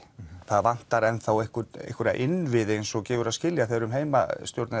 það vantar enn þá einhverja innviði eins og gefur að skilja þegar um heimastjórn